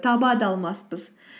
таба да алмаспыс